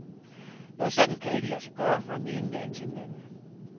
Noget sådant kan ikke lade sig gøre fra den ene dag til den anden.